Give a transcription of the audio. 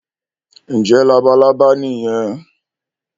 ǹjẹ́ “labalábá" nìyẹn?